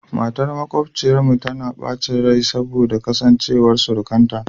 Matar makwabciyarmu tana bacin rai saboda kasancewar surukanta